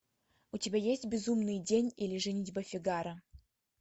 у тебя есть безумный день или женитьба фигаро